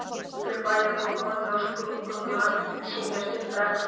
vinstri hönd er stöðuvatn sem stúlkan vill samt kalla tjörn.